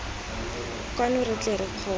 kwano re tle re kgone